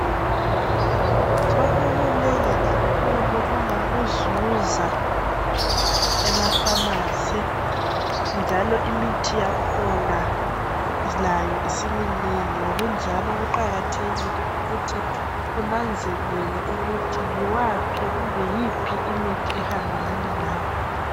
Sokukunengi kakhulu ongakuzuza ema "pharmacy " njalo imithi yakhona layo isiminengi ngokunjalo kuqakathekile ukuthi unanzelele ukuthi yiwaphi kumbe yiphi imithi ehambelana lawe.